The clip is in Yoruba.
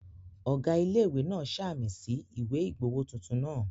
Ọ̀gá ilé-ìwé náà ṣàmì sí ìwé ìgbowó tuntun náà